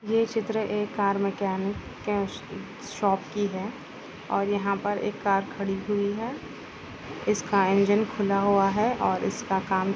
ये चित्र एक कार मेकैनिक कैश शॉप की है और यहाँ पर एक कार खड़ी हुई है इसका इंजन खुला हुआ है और इसका--